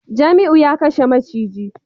Jamiu ya kashe maciji